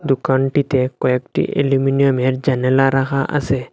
দোকানটিতে কয়েকটি এলুমিনিয়ামের জানালা রাখা আসে।